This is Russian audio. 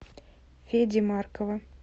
феди маркова